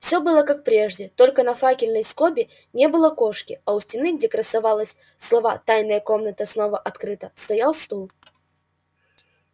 все было как прежде только на факельной скобе не было кошки а у стены где красовались слова тайная комната снова открыта стоял стул